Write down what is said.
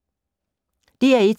DR1